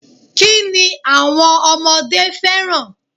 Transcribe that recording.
Kini àwọn ọmọdé fẹ́ràn?